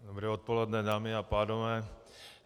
Dobré odpoledne, dámy a pánové.